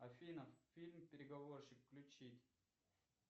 афина фильм переговорщик включить